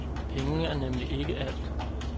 Penge er nemlig ikke alt.